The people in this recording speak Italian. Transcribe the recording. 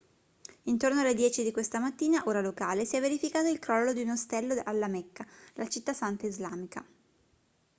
intorno alle 10 di questa mattina ora locale si è verificato il crollo di un ostello alla mecca la città santa islamica